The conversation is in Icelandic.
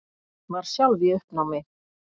Var sjálf í uppnámi.